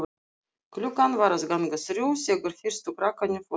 Klukkan var að ganga þrjú þegar fyrstu krakkarnir fóru heim.